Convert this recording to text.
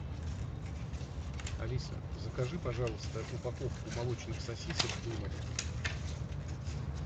алиса закажи пожалуйста упаковку молочных сосисок дымов